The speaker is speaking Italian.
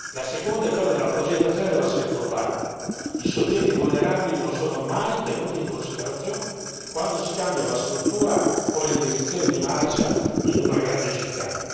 La seconda è quella della progettazione dell'assetto urbano i soggetti vulnerabili non sono mai tenuti in considerazione quando si cambia la struttura o le direzioni di marcia in una grande città.